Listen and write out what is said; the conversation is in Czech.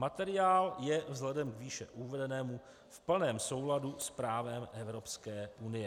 Materiál je vzhledem k výše uvedenému v plném souladu s právem Evropské unie.